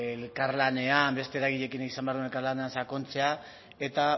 elkarlanean beste eragileekin izan behar duen elkarlanean sakontzea eta